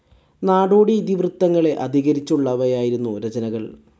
നാടോടി ഇതിവൃത്തങ്ങളെ അധികരിച്ചുള്ളവയായിരുന്നു രചനകൾ.